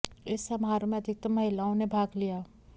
इस समारोह में अधिकतम महिलाओं ने भाग लिया